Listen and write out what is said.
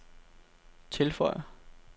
tilføjer